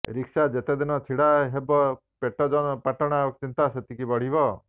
rickshaw ଯେତେ ଦିନ ଛିଡ଼ା ହେବ ପେଟ ପାଟଣା ଚିନ୍ତା ସେତିକି ବଢିବ